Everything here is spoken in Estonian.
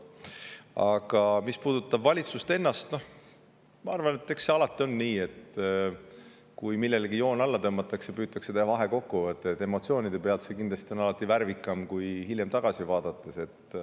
Aga mis puudutab valitsust ennast, siis ma arvan, et eks alati on nii, et kui millelegi joon alla tõmmatakse, siis püütakse teha vahekokkuvõte, ja emotsioonide põhjal on see kindlasti värvikam kui hiljem tagasi vaadates.